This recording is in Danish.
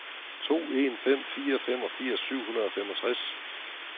to en fem fire femogfirs syv hundrede og femogtres